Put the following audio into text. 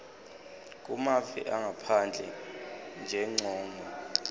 kumave angaphandle ngenjongo